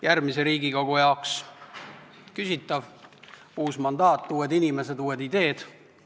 Järgmise Riigikogu jaoks on see küsitav, sest on uus mandaat, uued inimesed, uued ideed.